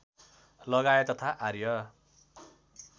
लगाए तथा आर्य